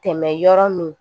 Tɛmɛ yɔrɔ min